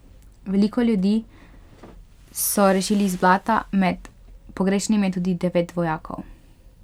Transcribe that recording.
Veliko ljudi so rešili iz blata, med pogrešanimi je tudi devet vojakov.